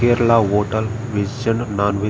Kerala hotel veg and non veg --